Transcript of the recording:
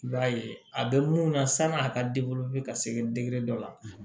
I b'a ye a bɛ mun na sanni a ka ka se dɔ la